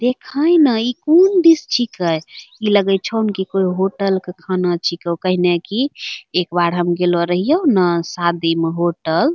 देखा ही ना इ कौन डिश छी कै | इ लगैछौ की कोई होटल के खाना छीको काहने की एक बार हम गेलो रहयो ना शादी में होटल --